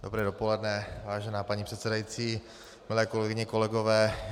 Dobré dopoledne, vážená paní předsedající, milé kolegyně, kolegové.